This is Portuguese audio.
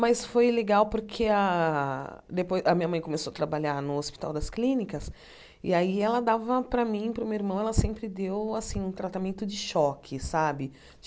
Mas foi legal porque a depo a minha mãe começou a trabalhar no Hospital das Clínicas, e aí ela dava para mim, para o meu irmão, ela sempre deu, assim, um tratamento de choque, sabe?